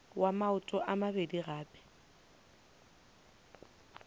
wa maoto a mabedi gape